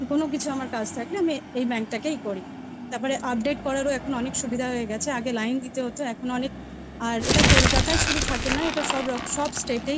কোনো কিছু আমার কাজ থাকলে আমি এই bank টা তেই করি তারপরে update করারও এখন অনেক সুবিধা হয়ে গেছে আগে লাইন দিতে হতো অনেক অনেক আর এইটা কলকাতায় শুধু না সব state এই থাকে।